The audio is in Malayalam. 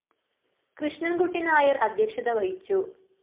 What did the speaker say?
കൃഷ്ണന്‍കുട്ടി നായര്‍ അദ്ധ്യക്ഷത വഹിച്ചു